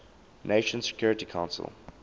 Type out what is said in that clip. nations security council